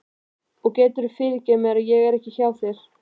Og geturðu fyrirgefið mér að ég er ekki hjá þér?